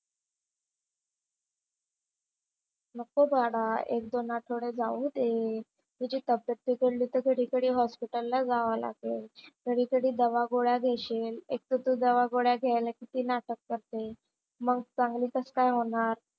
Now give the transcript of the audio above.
नको बाळा एक-दोन आठवडे जाऊ दे. तुझी तब्येत बिघडली तर घडी घडी हॉस्पिटलला जावा लागेल. घडी घडी दवा गोळया घेशील. एक तर तू दवा गोळ्या घ्यायला किती नाटक करते. मंग चांगली कसं काय होणार?